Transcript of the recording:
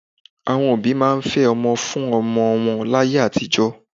Àwọn òbí máa ń fẹ́ ọmọ fún ọmọ wọn láyé àtijọ́